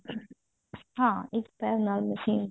ਹਾਂ ਇੱਕ ਪੈਰ ਨਾਲ ਮਸ਼ੀਨ